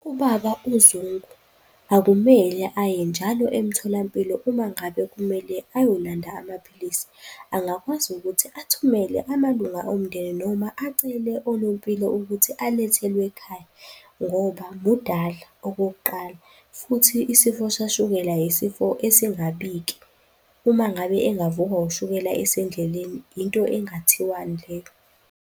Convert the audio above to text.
Ubaba uZungu akumele aye njalo emtholampilo uma ngabe kumele ayolanda amaphilisi. Angakwazi ukuthi athumele amalunga omndeni noma acele onompilo ukuthi alethelwe ekhaya ngoba mudala, okokuqala futhi isifo sikashukela yisifo esingabiki. Uma ngabe engavukwa ushukela esendleleni, into engathiwani leyo?